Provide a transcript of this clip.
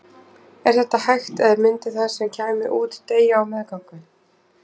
Er þetta hægt eða myndi það sem kæmi út deyja á meðgöngu?